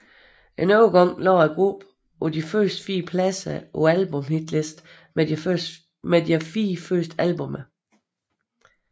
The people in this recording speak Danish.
En overgang lå gruppen på de første fire pladser på albumhitlisten med deres fire første albummer